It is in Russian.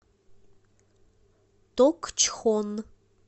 токчхон